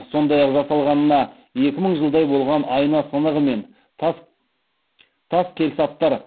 сондай ақ жасалғанына екі мың жылдай болған айна сынығы мен тас келсаптар